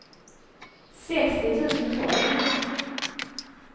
sextio tusen tolv